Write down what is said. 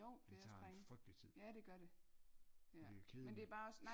Det tager en frygtelig tid og det er kedeligt